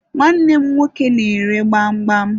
Nwanne m nwoke na-ere gbamgbam